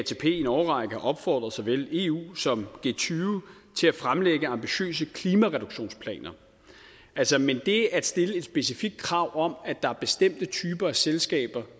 i en årrække har opfordret såvel eu som g20 til at fremlægge ambitiøse klimareduktionsplaner men det at stille et specifikt krav om at der er bestemte typer af selskaber